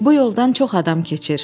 Bu yoldan çox adam keçir.